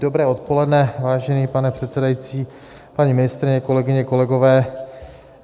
Dobré odpoledne, vážený pane předsedající, paní ministryně, kolegyně, kolegové.